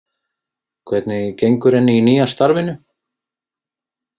Hvernig gengur henni í nýja starfinu?